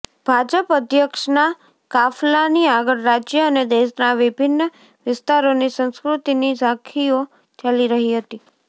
ભાજપ અધ્યક્ષના કાફલાની આગળ રાજ્ય અને દેશના વિભિન્ન વિસ્તારોની સંસ્કૃતિની ઝાંખીઓ ચાલી રહી હતી